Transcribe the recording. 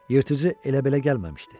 Yırtıcı elə-belə gəlməmişdi.